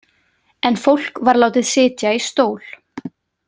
En fólk var látið sitja í stól.